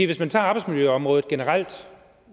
hvis man tager arbejdsmiljøområdet generelt